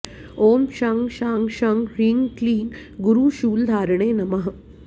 ॐ शं शां षं ह्रीं क्लीं गुरुशूलधारिणे नमः